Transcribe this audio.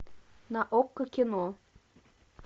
на окко кино